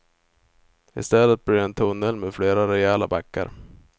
Istället blir det en tunnel med flera rejäla backar.